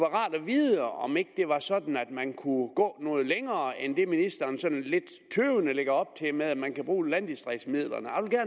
rart at vide om det ikke var sådan at man kunne gå noget længere end det ministeren sådan lidt tøvende lægger op til ved at man kan bruge landdistriktsmidlerne